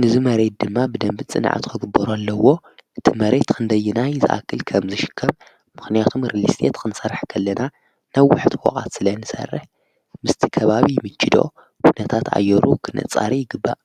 ንዝ መሬት ድማ ብደምብድ ጽንዓት ኸግበሩ ኣለዎ እቲ መሬይት ኽንደይናይ ዝኣክል ከም ዝሽከም ምኽንያቱም ርሊስትት ኽንሠርሕ ከለና ነብ ውሕት ወቓት ስለይ ንሠርሕ ምስቲ ከባቢ ይምችዶ ህነታት ኣዮሩ ኽነጻሪ ይግባእ።